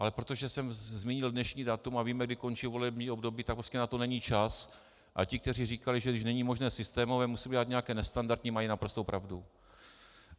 Ale protože jsem zmínil dnešní datum a víme, kdy končí volební období, tak prostě na to není čas, a ti, kteří říkali, že když není možné systémové, musí udělat nějaké nestandardní, mají naprostou pravdu.